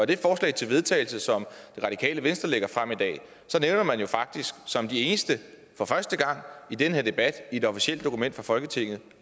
det forslag til vedtagelse som det radikale venstre lægger frem i dag nævner man jo faktisk som de eneste for første gang i den her debat i et officielt dokument fra folketinget